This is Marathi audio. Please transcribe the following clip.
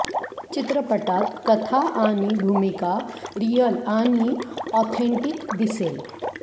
चित्रपटात कथा आणि भूमिका रिअल आणि ऑथेंटिक दिसेल